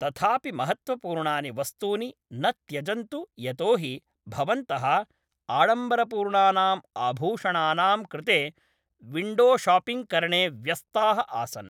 तथापि महत्त्वपूर्णानि वस्तूनि न त्यजन्तु यतोहि भवन्तः आडम्बरपूर्णानाम् आभूषणानाम् कृते विण्डोशापिङ्ग्करणे व्यस्ताः आसन् ।